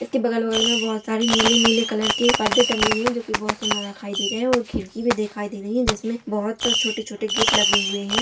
इसके बगल-बगल में बोहोत सारे नीले-नीले कलर के परदे टंगे हुए है जो कि बोहोत सुंदर दिखाई दे रहे है और खिड़की भी दिखाई दे रही है जिसमें बोहोत छोटे-छोटे गेट लगे हुए है।